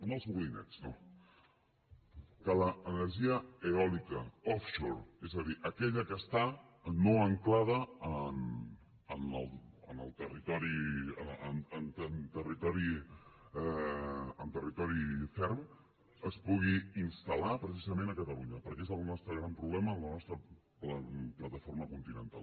no els molinets no que l’energia eòlica offshore és a dir aquella que no està ancorada en territori ferm es pugui instal·lar precisament a catalunya perquè és el nostre gran problema la nostra plataforma continental